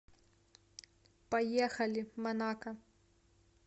поехали манако